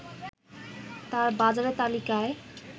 তার বাজারের তালিকায়